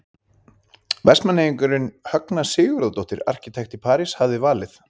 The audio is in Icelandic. Vestmanneyingurinn Högna Sigurðardóttir arkitekt í París hafði valið.